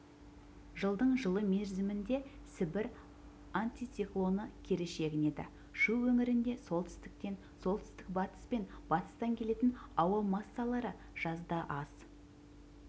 жылдың жылы мерзімінде сібір антициклоны кері шегінеді шу өңірінде солтүстіктен солтүстік-батыс пен батыстан келетін ауа массалары жазда аз